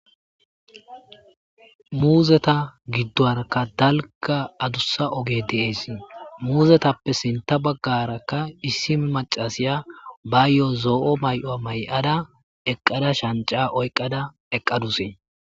Muuzeta giddoarakka dalka adussa oge dees muuzetappe sinta baggarakka issi macasiya bayyo,o zo,o may7o may7ada eqqada shanca oyqqada eqqadusee.